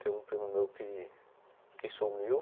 Tem um primo meu que que sumiu.